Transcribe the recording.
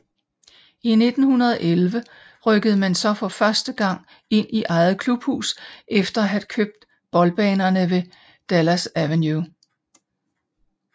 I 1911 rykkede man så for første gang ind i eget klubhus efter at have købt boldbanerne ved Dalgas Avenue